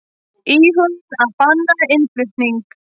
Íhuguðu að banna innflutning